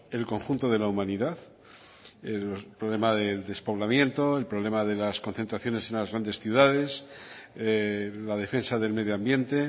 el conjunto de la humanidad el problema del despoblamiento el problema de las concentraciones en las grandes ciudades la defensa del medio ambiente